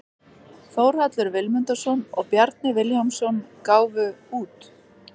Þórhallur Vilmundarson og Bjarni Vilhjálmsson gáfu út.